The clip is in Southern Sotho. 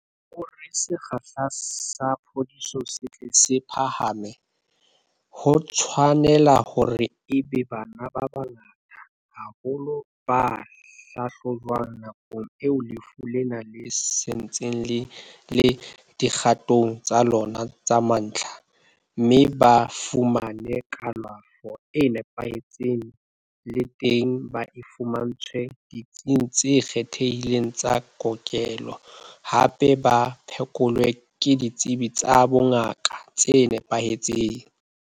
Hore sekgahla sa phodiso se tle se phahame, ho tshwa nela hore e be bana ba bangata haholo ba hlahlojwang nakong eo lefu lena le santseng le le dikgatong tsa lona tsa mantlha, mme ba fumane kalafo e nepahetseng le teng ba e fumantshwe ditsing tse kgethehileng tsa kokelo, hape ba phekolwe ke ditsebi tsa bongaka tse nepahetseng.